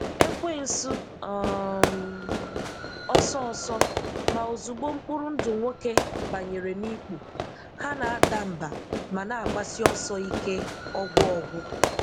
Èkwensu um ọ́sọọsọ; ma ozúgbò m̀kpụrụ ndụ nwókè bányèrè n’ìkpù, ha na-adà mbà ma na-agbasi ọsọ ike ọgwụọgwụ.